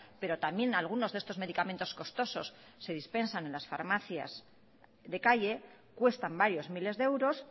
pero también algunos de estos medicamentos costosos se dispensan en las farmacias de calle cuestan varios miles de euros